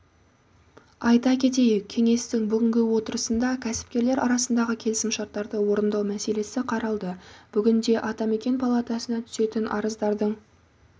айта кетейік кеңестің бүгінгі отырысында кәсіпкерлер арасындағы келісімшарттарды орындау мәселесі қаралды бүгінде атамекен палатасына түсетін арыздардың